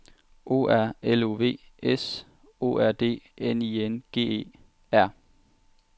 O R L O V S O R D N I N G E R